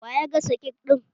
Wa ya gasa kek ɗin?